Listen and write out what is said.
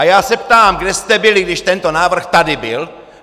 A já se ptám: kde jste byli, když tento návrh tady byl?